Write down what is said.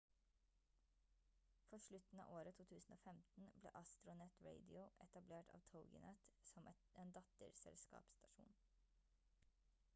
på slutten av året 2015 ble astronet radio etablert av toginet som en datterselskapsstasjon